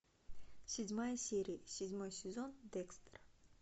седьмая серия седьмой сезон декстер